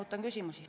Ootan küsimusi.